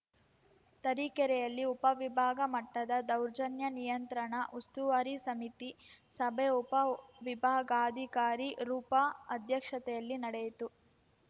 ತರೀಕೆರೆಯಲ್ಲಿ ಉಪವಿಭಾಗ ಮಟ್ಟದ ದೌರ್ಜನ್ಯ ನಿಯಂತ್ರಣ ಉಸ್ತುವಾರಿ ಸಮಿತಿ ಸಭೆ ಉಪ ವಿಭಾಗಾಧಿಕಾರಿ ರೂಪಾ ಅಧ್ಯಕ್ಷತೆಯಲ್ಲಿ ನಡೆಯಿತು